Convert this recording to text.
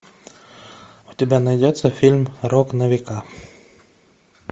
у тебя найдется фильм рок на века